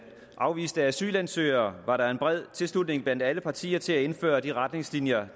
af afviste asylansøgere var der en bred tilslutning blandt alle partier til at indføre de retningslinjer